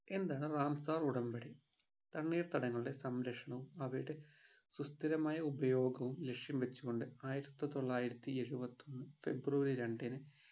എന്താണ് ramsar ഉടമ്പടി? തണ്ണീർത്തടങ്ങളുടെ സംരക്ഷണവും അവയുടെ സുസ്ഥിമായ ഉപയോഗവും ലക്ഷ്യo വെച്ചുകൊണ്ട് ആയിരത്തിത്തൊള്ളായിരത്തി എഴുപത്തിഒന്ന് february രണ്ടിന്